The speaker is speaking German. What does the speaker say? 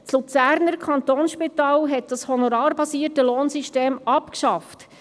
Das Luzerner Kantonsspital hat das honorarbasierte Lohnsystem abgeschafft.